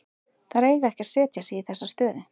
Þeir eiga ekki að setja sig í þessa stöðu.